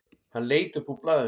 Hann leit upp úr blaðinu.